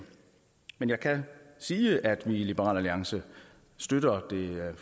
men jeg kan sige at vi i liberal alliance støtter det